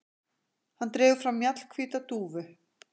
Hann dregur fram mjallhvíta dúfu.